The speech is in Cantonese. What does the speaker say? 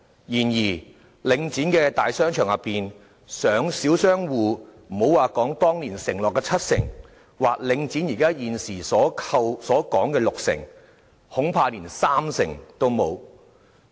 然而，領展的大商場中，小商戶佔整體商戶的比率，莫說當年承諾的七成，或領展現時所說的六成，恐怕連三成也沒有。